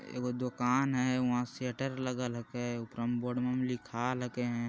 एगो दुकान है वहाँ शटर लागल हके ऊपर में बोर्डवा मै लिखाल हके |